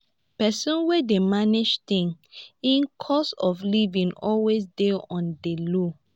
pesin wey dey manage things im cost of livin always dey on di low.